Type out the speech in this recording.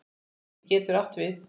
Rými getur átt við